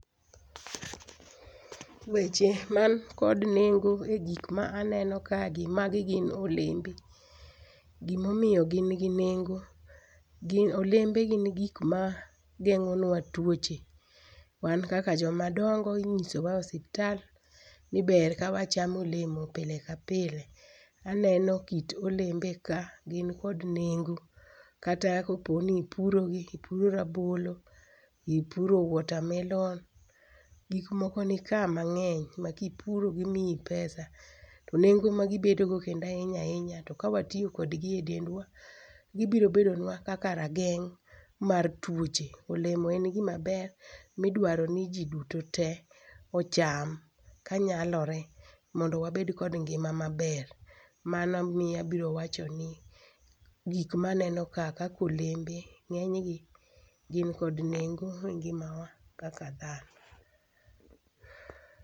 Weche man kod nengo e gik ma aneno kagi magi gin olembe. Gima omiyo gin gi nengo, gin olembe gin gik mageng'onua tuoche Wan kaka joma dongo inyisowa ni ber ka wachamo olemo pile ka pile. A nenokit olembe ka gin kod nengo kata kopo ni ipuro gi ipuro rabolo ipuro watermelon, gik moko nika mang'eny makipuro gimiyi pesa to nengo magibedo go kendo ahinya ahinya to kawatiyo kodgi edendwa gibiro bedonua kaka rageng' mar tuoche. Olemo en gima ber ma idwaro niji duto te ocham kanyalore mondo wabed kod ngima maber mana miyo abiro wacho ni gik maneno kaa kaka olembe ng'eny gi gin kod nengo e ngimawa kaka